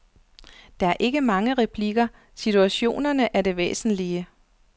Der er ikke mange replikker, situationerne er det væsentlige.